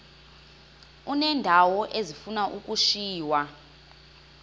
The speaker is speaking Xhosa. uneendawo ezifuna ukushiywa